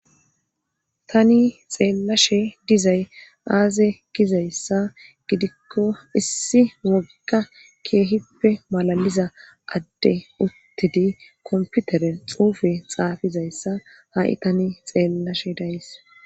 tani xeellashe dizay aaze gizayssa gidikko issi wogikka keehippe malaliza adde uttidi komputeren xuufe xaafizayssa ha7i tani xeellashe de7ayis.